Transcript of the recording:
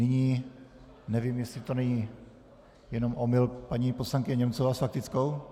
Nyní, nevím, jestli to není jenom omyl - paní poslankyně Němcová s faktickou?